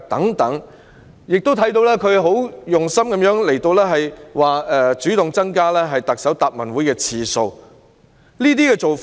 我們亦看到她很有心，主動增加立法會特首答問會的次數。